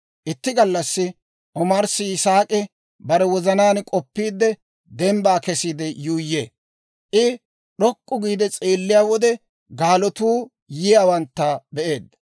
Itti gallassi omarssi Yisaak'i bare wozanaan k'oppiide dembbaa kesiide yuuyyee; I d'ok'k'u giide s'eelliyaa wode, gaalatuu yiyaawantta be'eedda.